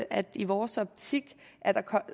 at i vores optik er der